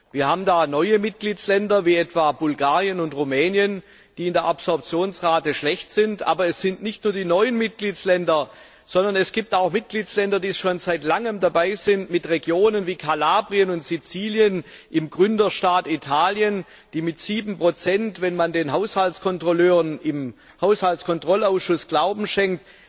Wir haben da neue Mitgliedstaaten, wie etwa Bulgarien und Rumänien, die in der Absorptionsrate schlecht sind, aber es sind nicht nur die neuen Mitgliedstaaten, sondern es gibt auch Mitgliedstaaten, die schon seit langem dabei sind, mit Regionen wie Kalabrien und Sizilien im Gründerstaat Italien, die mit 7 wenn man den Haushaltskontrolleuren im Haushaltskontrollausschuss Glauben schenkt